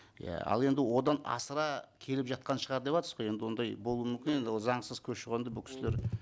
иә ал енді одан асыра келіп жатқан шығар деватсыз ғой енді ондай болуы мүмкін енді ол заңсыз көші қонды бұл кісілер